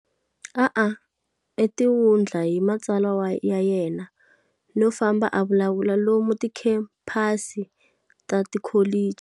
A a tiwundla hi matsalwa ya yena no famba a vulavula lomu tikhempasi ta tikholichi.